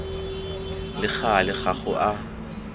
le gale ga go a